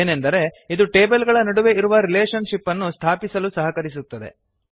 ಏನೆಂದರೆ ಇದು ಟೇಬಲ್ ಗಳ ನಡುವೆ ಇರುವ ರಿಲೇಷನ್ ಶಿಪ್ ಅನ್ನು ಸ್ಥಾಪಿಸಲು ಸಹಕರಿಸುತ್ತದೆ